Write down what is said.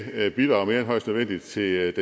bidrage mere end højst nødvendigt til